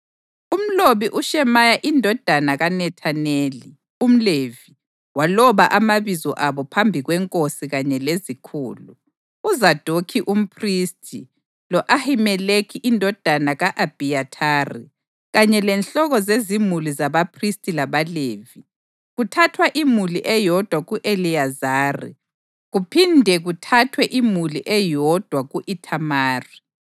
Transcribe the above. Umlobi uShemaya indodana kaNethaneli, umLevi, waloba amabizo abo phambi kwenkosi kanye lezikhulu: uZadokhi umphristi, lo-Ahimeleki indodana ka-Abhiyathari kanye lenhloko zezimuli zabaphristi labaLevi, kuthathwa imuli eyodwa ku-Eliyazari kuphinde kuthathwe imuli eyodwa ku-Ithamari.